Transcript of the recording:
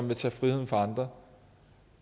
vil tage friheden fra andre